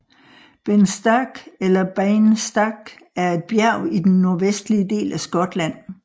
Ben Stack eller Beinn Stac er et bjerg i den nordvestlige del af Skotland